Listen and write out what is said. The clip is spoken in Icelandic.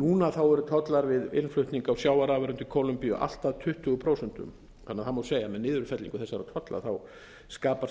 núna eru tollar við innflutning á sjávarafurðum til kólumbíu allt að tuttugu prósent þannig að það má segja að með niðurfellingu þessara tolla